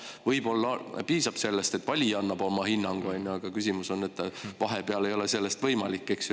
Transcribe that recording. Võib-olla piisab sellest, et valija annab oma hinnangu, aga küsimus on selles, et vahepeal ei ole see võimalik.